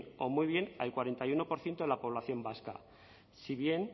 o muy bien al cuarenta y uno por ciento de la población vasca si bien